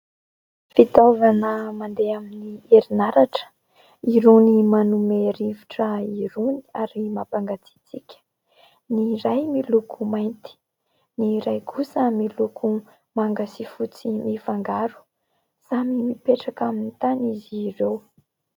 Fitaovana mandeha amin'ny herinaratra, irony manome rivotra irony ary mampangatsiatsiaka. Ny iray miloko mainty, ny iray kosa miloko manga sy fotsy mifangaro. Samy mipetraka amin'ny tany izy ireo.